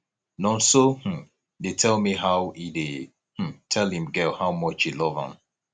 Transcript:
nonso um dey tell me how he dey um tell im girl how much he love am